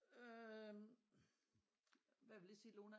Øh hvad vil det sige Lone